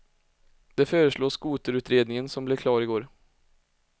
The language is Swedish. Det föreslår skoterutredningen som blev klar i går.